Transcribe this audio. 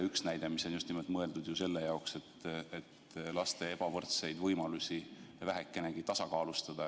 See on mõeldud just nimelt selle jaoks, et laste ebavõrdseid võimalusi vähekenegi tasakaalustada.